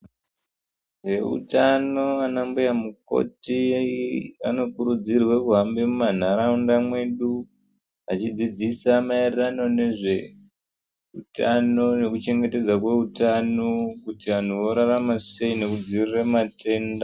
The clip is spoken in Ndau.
Veutano ana mbuya mukoti vanokurudzirwa kuhambe mumanharaunda mwedu vachidzidzisa marairano nezve utano nekuchengetedza kweutano, kuti vanhu vorarama seii nekudzivirira matenda .